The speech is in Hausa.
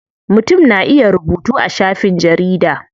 Mutum na iya rubutu a shafin jarida.